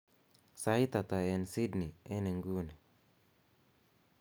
sait ata en sydney en inguni